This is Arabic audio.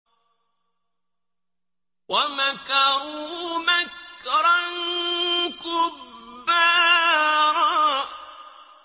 وَمَكَرُوا مَكْرًا كُبَّارًا